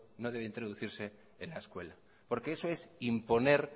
en la escuela porque eso es imponer